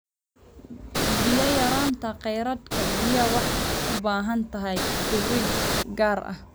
Biyo yaraanta kheyraadka biyaha waxay u baahan tahay fiiro gaar ah.